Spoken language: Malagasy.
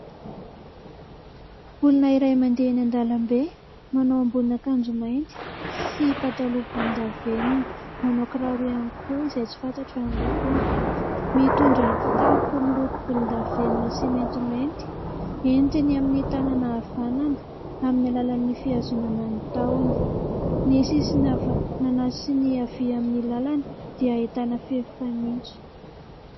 Olona iray mandeha eny an-dàlambe. Manao ambonin'akanjo mainty sy pataloha volondavenona. Manao kiraro ihany koa izay tsy fantatra ny lokony. Mitondra kitapo miloko volondavenona sy maintimainty. Entiny amin'ny tanana havanana amin'ny alalan'ny fihazonana ny tahony. Ny sisiny havanana sy ny havia amin'ny lalana dia ahitana fefy fanitso.